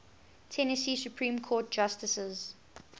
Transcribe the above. tennessee supreme court justices